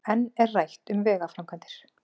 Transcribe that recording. Enn er rætt um vegaframkvæmdir